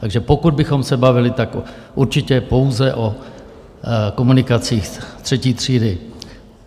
Takže pokud bychom se bavili, tak určitě pouze o komunikacích třetí třídy.